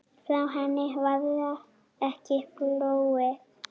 Frá henni varð ekki flúið.